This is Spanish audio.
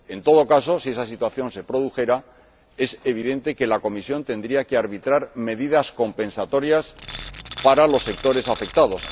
En todo caso, si esa situación se produjera, es evidente que la Comisión tendría que arbitrar medidas compensatorias para los sectores afectados.